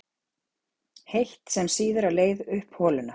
heitt, sem sýður á leið upp holuna.